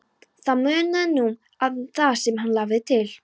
Það munaði nú um það sem hann lagði til.